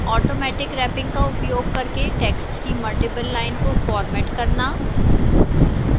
automatic wrapping का उपयोग करके text की multiple lines को format करना